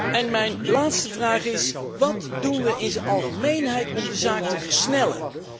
En mijn laatste vraag is wat doen wij in het algemeen om de zaak te versnellen?